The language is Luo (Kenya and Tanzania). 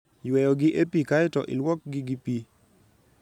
Yweyogi e pi kae to ilwokgi gi pi.